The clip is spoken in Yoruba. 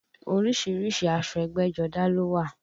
Orísìírísìí aṣọ ẹgbẹ́jọdá ló wà